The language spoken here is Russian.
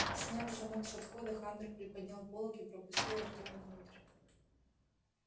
сняв замок со входа хантер приподнял полог и пропустил артёма внутрь